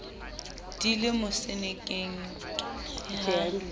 di le mosenekeng ke ha